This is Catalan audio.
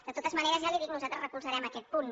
de totes maneres ja li ho dic nosaltres recolzarem aquest punt